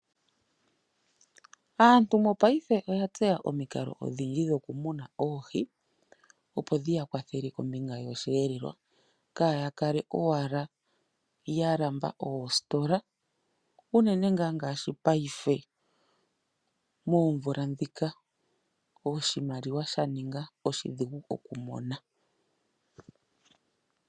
Aantu mongashingeyi oya tseya omikalo odhindji dhokumuna oohi opo dhiya kwathele kombinga yosheelelwa kaaya kale owala ya lamba oositola unene ngaa ngaashi paife moomvula ndhika oshimaliwa sha ninga oshidhigu kumona.